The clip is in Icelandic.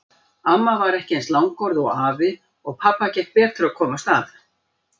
Amma var ekki eins langorð og afi og pabba gekk betur að komast að.